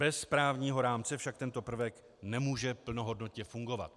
Bez právního rámce však tento prvek nemůže plnohodnotně fungovat.